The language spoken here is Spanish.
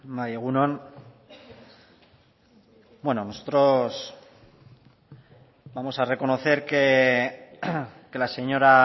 bai egun on bueno nosotros vamos a reconocer que la señora